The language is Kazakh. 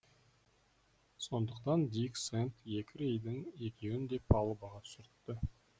сондықтан дик сэнд екі рейдің екеуін де палубаға түсіртті